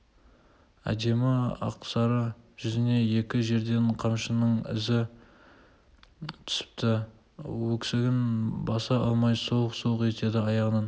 әдемі ақсары жүзіне екі жерден қамшының ізі түсіпті өксігін баса алмай солқ-солқ етеді аяғаннан